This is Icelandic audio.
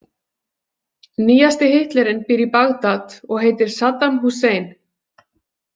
Nýjasti Hitlerinn býr í Bagdad og heitir Saddam Hussein.